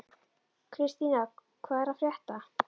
Kristína, hvað er að frétta?